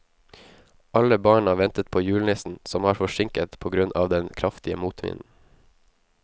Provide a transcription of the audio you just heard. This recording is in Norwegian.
Alle barna ventet på julenissen, som var forsinket på grunn av den kraftige motvinden.